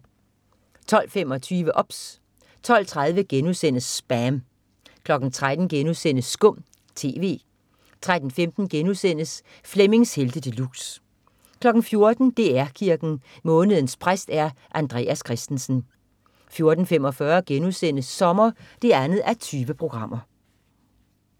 12.25 OBS 12.30 SPAM* 13.00 Skum TV* 13.15 Flemmings Helte De Luxe* 14.00 DR Kirken. Månedens præst er Andreas Christensen 14.45 Sommer 2:20*